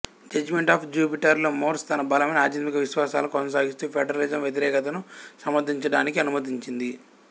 judgement of Jupiter లో Morse తన బలమైన ఆధ్యాత్మిక విశ్వాసాలను కొనసాగిస్తూ ఫెడరలిజం వ్యతిరేకతను సమర్థించడానికి అనుమతించింది